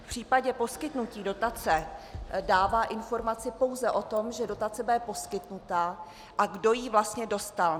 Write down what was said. V případě poskytnutí dotace dává informaci pouze o tom, že dotace bude poskytnuta a kdo ji vlastně dostal.